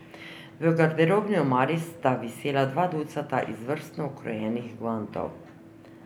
V garderobni omari sta visela dva ducata izvrstno ukrojenih gvantov.